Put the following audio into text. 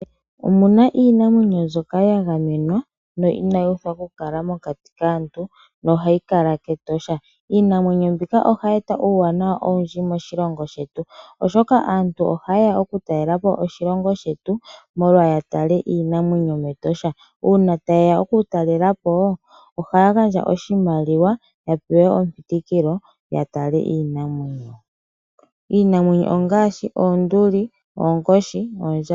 Opu na iinamwenyo mbyoka ya gamenwa no inayi uthwa okukala mokati kaantu nohayi kala kEtosha. Iinamwenyo mbika ohayi eta uuwanawa owundji moshilongo shetu, oshoka aantu oyendji ohaye ya okutalela po oshilongo shetu, opo ya tale iinamwenyo mEtosha. Uuna taye ya okutalela po ohaya gandja oshimaliwa ya pewe epitikilo ya tale iinamwenyo. Iinamwenyo ongaashi: oonduli, oonkoshi noondjamba.